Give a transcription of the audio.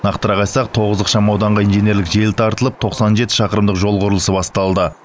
нақтырақ айтсақ тоғыз ықшам ауданға инженерлік желі тартылып тоқсан жеті шақырымдық жол құрылысы басталды